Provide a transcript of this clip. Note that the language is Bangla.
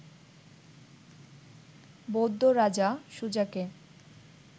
বৌদ্ধ রাজা, সুজাকে